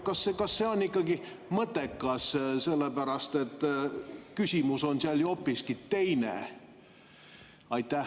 Kas see on ikkagi mõttekas, sellepärast et küsimus on seal ju hoopiski teine?